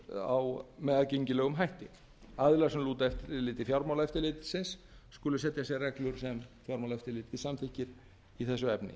þær með aðgengilegum hætti aðilar sem lúta eftirliti fjármálaeftirlitsins skulu setja sér reglur sem fjármálaeftirlitið samþykkir í þessu efni